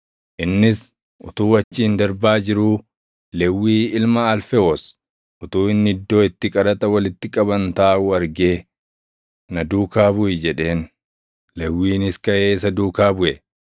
Innis utuu achiin darbaa jiruu, Lewwii ilma Alfewoos utuu inni iddoo itti qaraxa walitti qaban taaʼuu argee, “Na duukaa buʼi” jedheen. Lewwiinis kaʼee isa duukaa buʼe.